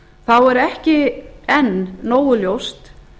þá er ekki enn nógu ljóst